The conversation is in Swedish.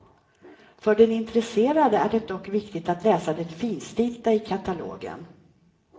För den intresserade är det dock viktigt att läsa det finstilta i katalogen.